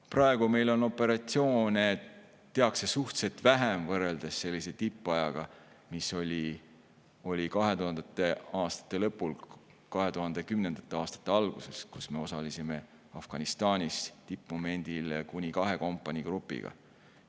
Praegu meil tehakse operatsioone suhteliselt vähe võrreldes tippajaga, mis oli 2000. aastate lõpul ja 2010. aastate alguses, kui me osalesime Afganistanis tippmomendil kuni kahe kompaniigrupiga.